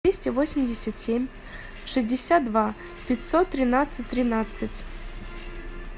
двести восемьдесят семь шестьдесят два пятьсот тринадцать тринадцать